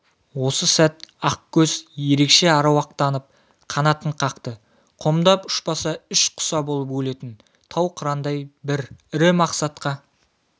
осы сәт ақкөз ерекше аруақтанып қанатын қатты қомдап ұшпаса іш құса болып өлетін тау қырандай бір ірі мақсатқа